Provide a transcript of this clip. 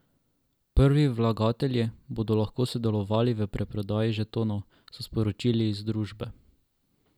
Prvi vlagatelji bodo lahko sodelovali v predprodaji žetonov, so sporočili iz družbe.